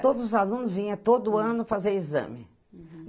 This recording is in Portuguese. Todos os alunos vinha todo ano fazer exame. Uhum